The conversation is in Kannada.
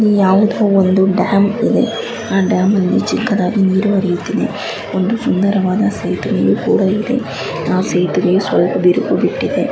ಯಾವುದೊ ಒಂದು ಡ್ಯಾಮ್ ಇದೆ ಆ ಡ್ಯಾಮ್ ಅಲ್ಲಿ ಚಿಕ್ಕದಾಗಿ ನೀರು ಹರಿಯುತ್ತಿದೆ ಒಂದು ಸುಂದವಾದ ಸೇತುವೆಯು ಕೂಡ ಇದೆ ಆ ಸೇತುವೆ ಸ್ವಲ್ಪ ದಿರುಗು ಬಿಟ್ಟಿದೆ.